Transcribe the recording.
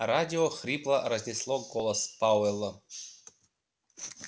радио хрипло разнесло голос пауэлла